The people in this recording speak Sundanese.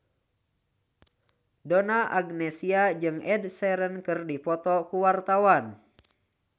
Donna Agnesia jeung Ed Sheeran keur dipoto ku wartawan